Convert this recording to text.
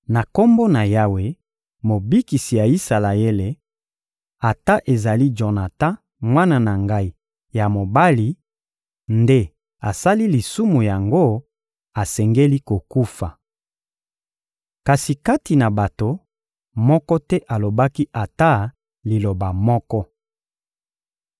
Na Kombo na Yawe, Mobikisi ya Isalaele, ata ezali Jonatan, mwana na ngai ya mobali, nde asali lisumu yango, asengeli kokufa. Kasi kati na bato, moko te alobaki ata liloba moko.